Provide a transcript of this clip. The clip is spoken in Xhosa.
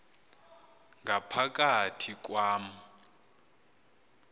ngapha kathi kwam